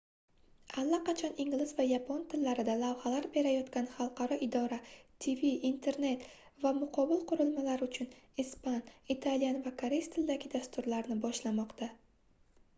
allaqachon ingliz va yapon tillarida lavhalar berayotgan хalqaro idora tv internet va mobil qurilmalar uchun ispan italyan va koreys tilidagi dasturlarni boshlamoqda